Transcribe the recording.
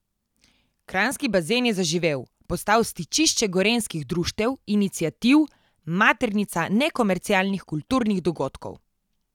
Kranjski bazen je zaživel, postal stičišče gorenjskih društev, iniciativ, maternica nekomercialnih kulturnih dogodkov.